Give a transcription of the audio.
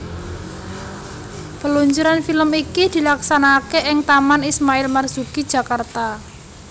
Peluncuran film iki dilaksanakake ing Taman Ismail Marzuki Jakarta